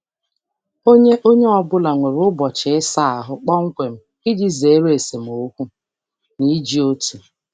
Onye Onye ọ bụla nwere ụbọchị ịsa ahụ kpọmkwem iji zere esemokwu n'iji otu.